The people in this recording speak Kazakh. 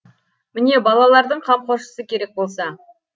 міне балалардың қамқоршысы керек болса